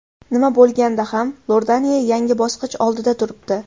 Nima bo‘lganda ham Iordaniya yangi bosqich oldida turibdi.